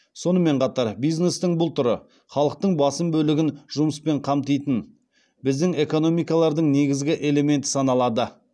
сонымен қатар бизнестің бұл түрі халықтың басым бөлігін жұмыспен қамтитын біздің экономикалардың негізгі элементі саналады